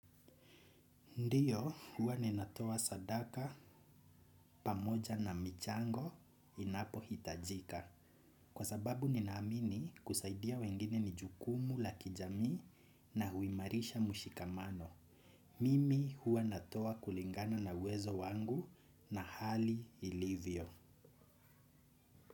Ndiyo, huwa ninatoa sadaka pamoja na michango inapohitajika. Kwa sababu ninaamini kusaidia wengine ni jukumu la kijami na huimarisha mushikamano. Mimi huwa natowa kulingana na uwezo wangu na hali ilivyo.